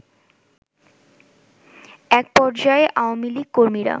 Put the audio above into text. এক পর্যায়ে আওয়ামী লীগ কর্মীরা